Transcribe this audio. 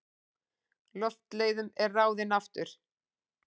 Loftleiðum en ráðinn aftur.